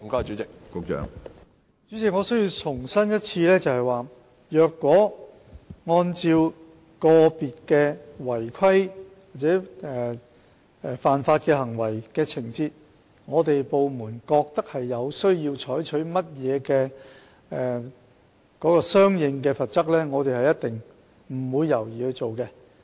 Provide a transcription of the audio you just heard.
主席，我必須重申，如果根據個別違規或犯法的行為和情況，令我們的部門認為有需要採取一些相應的罰則，我們必定毫不猶豫地去做。